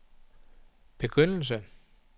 begyndelse